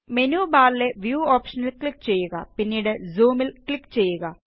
menu ബാറിലെ Viewഓപ്ഷനില് click ചെയ്യുക പിന്നീട് Zoomല് ക്ലിക് ചെയ്യുക